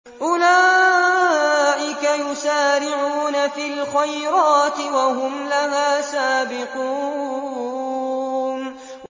أُولَٰئِكَ يُسَارِعُونَ فِي الْخَيْرَاتِ وَهُمْ لَهَا سَابِقُونَ